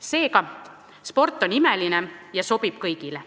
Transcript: Seega, sport on imeline ja sobib kõigile.